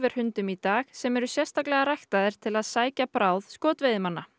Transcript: hundum í dag sem eru sérstaklega ræktaðir til að sækja bráð skotveiðimanna